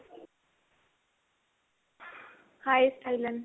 hi ਸਟਾਇਲਨ.